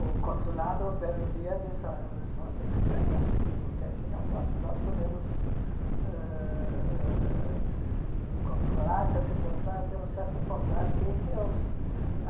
O consulado, um belo dia, disse, olha, vocês vão ter que sair daqui, porque aqui não pode, nós podemos ãh ãh controlar essa situação até um certo ponto. Até que os